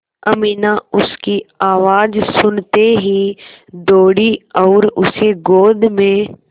अमीना उसकी आवाज़ सुनते ही दौड़ी और उसे गोद में